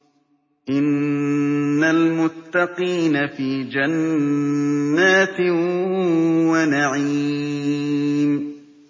إِنَّ الْمُتَّقِينَ فِي جَنَّاتٍ وَنَعِيمٍ